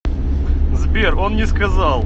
сбер он не сказал